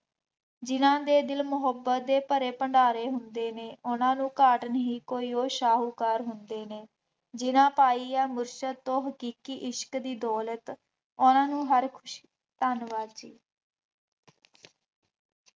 ਜਿੰਨ੍ਹਾ ਦੇ ਦਿਲ ਮੁਹੱਬਤ ਦੇ ਭਰੇ ਭੰਡਾਰੇ ਹੁੰਦੇ ਨੇ, ਉਹਨਾ ਨੂੰ ਕੋਈ ਘਾਟ ਨਹੀਂ ਕੋਈ, ਉਹ ਸ਼ਾਹੂਕਾਰ ਹੁੰਦੇ ਨੇ, ਜਿੰਨ੍ਹਾ ਪਾਈ ਹੈ ਮੁਸ਼ਤਤ ਤੋਂ ਹਕੀਕੀ ਇਸ਼ਕ ਦੀ ਦੌਲਤ ਉਹਨਾ ਨੂੰ ਹਰ ਖੁਸ਼ੀ, ਧੰਨਵਾਦ।